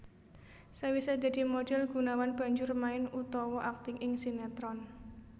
Sawisé dadi modhél Gunawan banjur main utawa akting ing sinetron